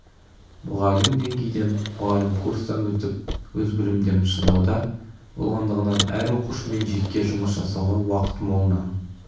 мұғалім деңгейден мұғалім курстан өтіп өз білімдерін шыңдауда болғандығынан әр оқушымен жеке жұмыс жасауға уақыт молынан